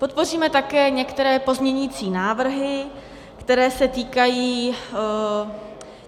Podpoříme také některé pozměňovací návrhy, které se týkají...